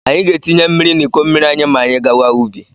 Anyị ga-etinye mmiri n'iko mmiri anyị ma anyị gawa ubi.